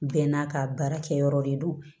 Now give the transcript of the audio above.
Bɛɛ n'a ka baarakɛ yɔrɔ de don